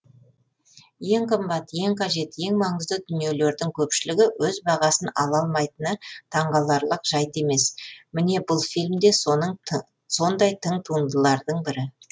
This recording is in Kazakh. ең қымбат ең қажет ең маңызды дүниелердің көпшілігі өз бағасын ала алмайтыны таңғаларлық жайт емес міне бұл фильм де сондай тың туындылардың бірі